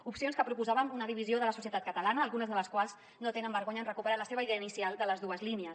opcions que proposaven una divisió de la societat catalana algunes de les quals no tenen vergonya en recuperar la seva idea inicial de les dues línies